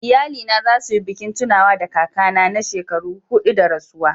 Iyalina za su yi bikin tunawa da kakana na shekaru hudu da rasuwa..